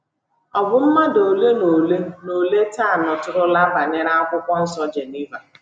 Ọ bụ mmadụ ole na ole na ole taa nụtụrụla banyere akwụkwọ nsọ Geneva.